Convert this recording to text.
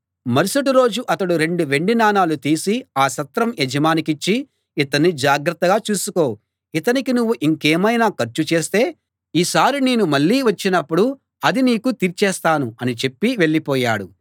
మరుసటి రోజు అతడు రెండు వెండి నాణాలు తీసి ఆ సత్రం యజమానికిచ్చి ఇతణ్ణి జాగ్రత్తగా చూసుకో ఇతనికి నువ్వు ఇంకేమైనా ఖర్చు చేస్తే ఈసారి నేను మళ్ళీ వచ్చినప్పుడు అది నీకు తీర్చేస్తాను అనిచెప్పి వెళ్ళిపోయాడు